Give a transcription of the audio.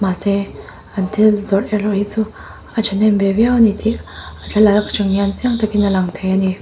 mahse an thil zawrh erawh hi chu a thahnem ve viau ani tih a thlalak aṭang hian chiang takin a lang thei ani.